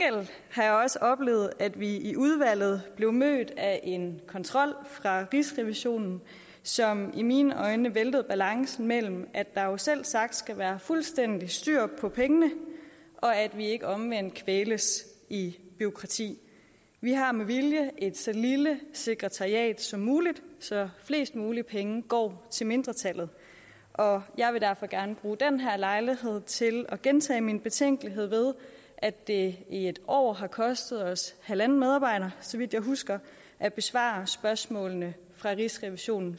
har jeg også oplevet at vi i udvalget blev mødt af en kontrol fra rigsrevisionen som i mine øjne væltede balancen mellem at der jo selvsagt skal være fuldstændig styr på pengene og at vi ikke omvendt kvæles i bureaukrati vi har med vilje et så lille sekretariat som muligt så flest mulige penge går til mindretallet og jeg vil derfor gerne bruge den her lejlighed til at gentage min betænkelighed ved at det i et år har kostet os halvanden medarbejder så vidt jeg husker at besvare spørgsmålene fra rigsrevisionen